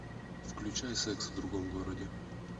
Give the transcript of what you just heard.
включай секс в другом городе